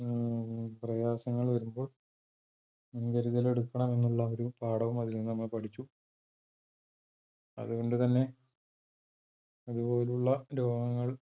പ്രയാസങ്ങള് വരുമ്പോൾ മുൻകരുതൽ എടുക്കണമെന്നുള്ള ഒരു പാഠവും അതിൽ നിന്ന് നമ്മൾ പഠിച്ചു. അതുകൊണ്ട് തന്നെ,